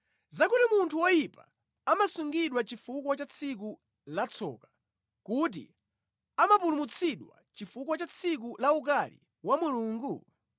Zakuti munthu woyipa amasungidwa chifukwa cha tsiku la tsoka, kuti amapulumutsidwa chifukwa cha tsiku la ukali wa Mulungu?